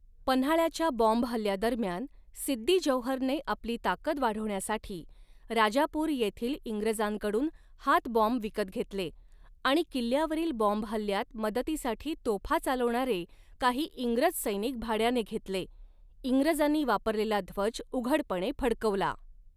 पन्हाळाच्या बॉम्बहल्ल्यादरम्यान, सिद्दी जौहरने आपली ताकद वाढविण्यासाठी राजापूर येथील इंग्रजांकडून हातबॉम्ब विकत घेतले आणि किल्ल्यावरील बॉम्बहल्ल्यात मदतीसाठी तोफा चालवणारे काही इंग्रज सैनिक भाड्याने घेतले, इंग्रजांनी वापरलेला ध्वज उघडपणे फडकवला.